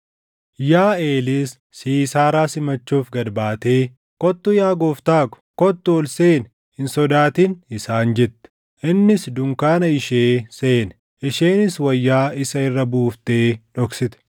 Yaaʼeelis Siisaaraa simachuuf gad baatee, “Kottu yaa gooftaa koo; kottu ol seeni; hin sodaatin” isaan jette. Innis dunkaana ishee seene; isheenis wayyaa isa irra buuftee dhoksite.